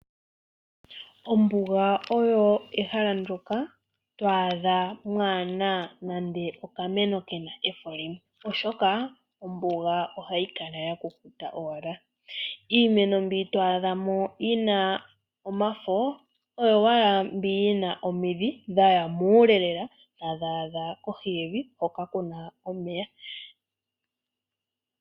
Ombuga oyo ehala ndjoka to adha kaamuna nande oshimeno shina efo limwe, oshoka ombuga ohayi kala yakukuta . Iimeno mbi to adha mo yina omafo oyo owala mbi yina omidhi dhaya muule lela tadhi adha kohi yevi hoka kuna omeya.